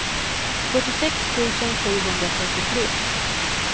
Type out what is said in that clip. fyrtiosex tusen sjuhundrafyrtiotre